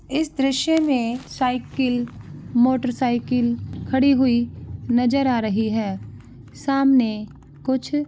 इस दृश्य में साईकिल मोटर सायकल खड़ी हुई नजर आ रही है सामने कुछ--